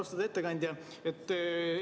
Austatud ettekandja!